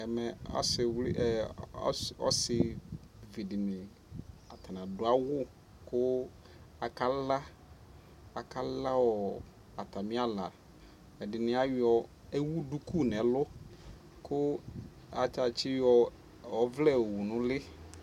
Not clear atani adu awu kuaka la Aka la ɔɔ ata mi ala Ɛdini ayɔ ɛwu duku nɛ luKu ata tsi yɔ ɛvlɛ yɔ wu nu li